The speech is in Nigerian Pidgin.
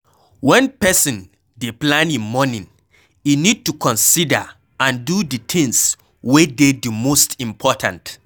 When person dey plan im morning e need to consider and do di things wey dey di most important